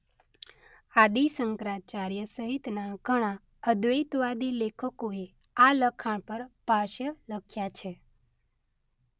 આદિ શંકરાચાર્ય સહિતના ઘણાં અદ્વૈતવાદી લેખકોએ આ લખાણ પર ભાષ્ય લખ્યા છે.